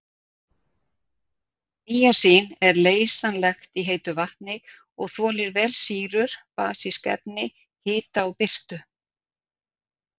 Níasín er leysanlegt í heitu vatni og þolir vel sýrur, basísk efni, hita og birtu.